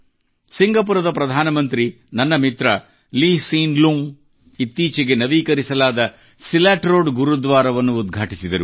ಸಿಂಗಪುರದ ಪ್ರಧಾನಮಂತ್ರಿ ನನ್ನ ಮಿತ್ರ Lee Hsien Loong Lee Hsien Loongಅವರು ಇತ್ತೀಚೆಗೆ ನವೀಕರಿಸಲಾದ ಸಿಲಾಟ್ ರೋಡ್ ಗುರುದ್ವಾರವನ್ನು ಉದ್ಘಾಟಿಸಿದರು